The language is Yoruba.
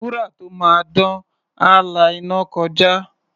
Wúrà tó máa dán, á la iná kọjá.